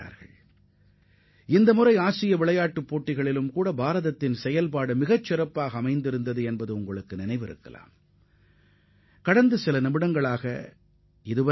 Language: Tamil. அண்மையில் நடைபெற்ற ஆசிய விளையாட்டுப் போட்டியிலும் இந்திய வீரர்களின் செயல்பாடு மிகச் சிறப்பாக இருந்ததை நீங்கள் நினைத்துப் பார்க்க வேண்டும்